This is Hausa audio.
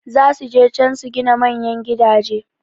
Zasu je can su gina manyan gidaje